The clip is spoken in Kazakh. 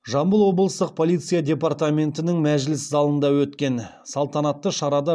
жамбыл облыстық полиция департаментінің мәжіліс залында өткен салтанатты шарада